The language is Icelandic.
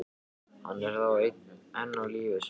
Hann er þá enn á lífi sagði ég.